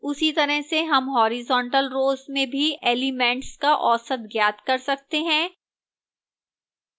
उसी तरह से हम horizontal row में भी elements का औसत ज्ञात कर सकते हैं